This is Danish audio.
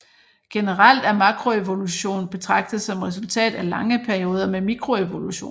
Generelt er makroevolution betragtet som resultatet af lange perioder med mikroevolution